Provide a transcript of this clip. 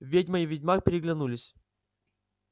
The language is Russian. ведьма и ведьмак переглянулись